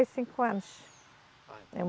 cinco anos. Ah, então